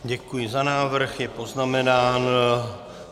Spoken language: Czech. Děkuji za návrh, je poznamenán.